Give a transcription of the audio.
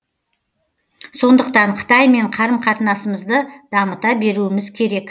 сондықтан қытаймен қарым қатынасымызды дамыта беруіміз керек